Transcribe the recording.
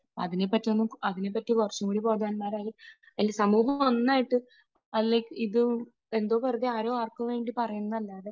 അതിനെപ്പറ്റി ഒന്നും, അതിനെപ്പറ്റി കുറച്ചുകൂടി ബോധവാന്മാരായി ഈ സമൂഹം ഒന്നായിട്ട് ഇത് എന്തോ വെറുതെ ആരോ ആർക്കുവേണ്ടി പറയുന്നതല്ലാതെ